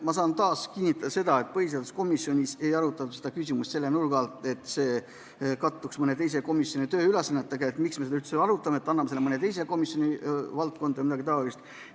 Ma saan taas kinnitada seda, et põhiseaduskomisjonis ei arutatud seda küsimust selle nurga alt, kas selle töö kattuks mõne teise komisjoni ülesannetega või et miks me seda üldse arutame, parem anname selle mõne teise komisjoni valdkonda vms.